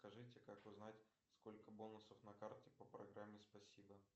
скажите как узнать сколько бонусов на карте по программе спасибо